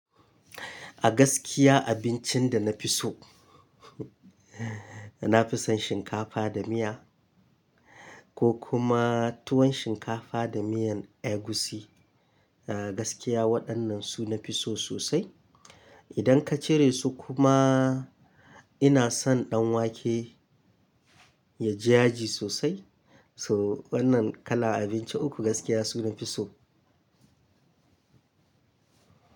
A gaskiya abincin da na fi so na fi son shinkafa da miya ko kuma tuwon shinkafa da miyan egusi. A gaskiya waɗannan su nafi so sosai. Idan ka cire su kuma ina son ɗanwake ya ji jaji sosai. So wannan kalar abinci uku gaskiya su nafi so.